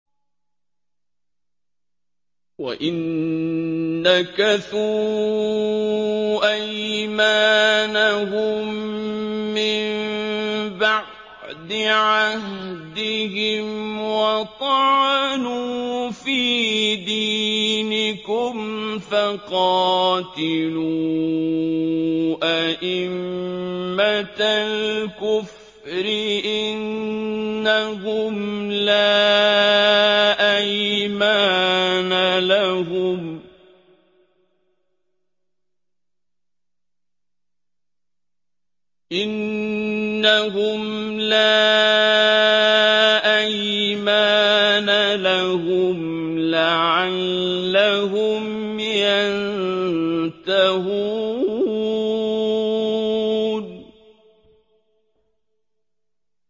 وَإِن نَّكَثُوا أَيْمَانَهُم مِّن بَعْدِ عَهْدِهِمْ وَطَعَنُوا فِي دِينِكُمْ فَقَاتِلُوا أَئِمَّةَ الْكُفْرِ ۙ إِنَّهُمْ لَا أَيْمَانَ لَهُمْ لَعَلَّهُمْ يَنتَهُونَ